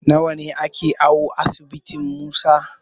Nawa ake awo asibitin Musa?